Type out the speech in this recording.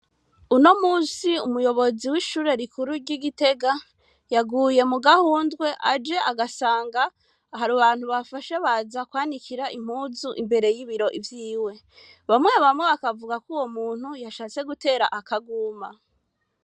Uno munsi umuyobozi wishure rikuru ryi Gitega yaguye mugahundwe aje agasanga hari abantu bafashe baza kwanikira impuzu imbere yibiro vyiwe, bamwe bamwe bakavugako uwo muntu yashatse gutera akaguma.